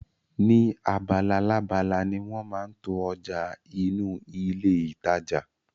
Ni abalalábala ni wọn máa ń to ọjà inú ilé ìtajà